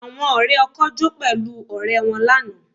Àwọn ọ̀rẹ́ ọkọ jó pẹ̀lú ọ̀rẹ́ wọn lánàá